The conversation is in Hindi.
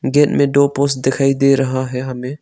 गेट में दो पोस्ट दिखाई दे रहा है हमे।